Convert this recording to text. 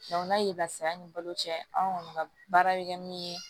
n'a ye lafiya ni balo cɛ anw kɔni ka baara bɛ kɛ min ye